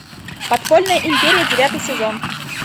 подпольная империя девятый сезон